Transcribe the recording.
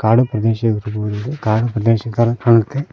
ಕಾಡು ಪ್ರದೇಶ ಇರ್ಬೋದು ಇದು ಕಾಡು ಪ್ರದೇಶ ತರ ಕಾಣುತ್ತೆ.